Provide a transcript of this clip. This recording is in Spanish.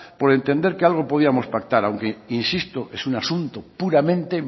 por entender que algo podríamos pactar aunque insisto es un asunto puramente